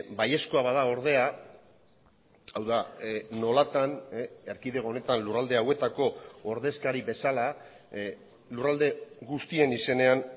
baiezkoa bada ordea hau da nolatan erkidego honetan lurralde hauetako ordezkari bezala lurralde guztien izenean